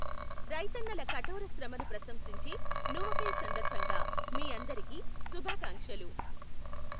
రైతన్నల కఠోర శ్రమను ప్రశంసించే నువఖై సందర్భంగా మీ అందరికీ శుభాకాంక్షలు.